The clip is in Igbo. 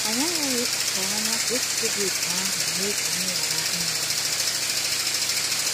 Anyị aghaghị ịkpachara anya ka echiche dị otú ahụ mee ka anyị ghara ime ihe.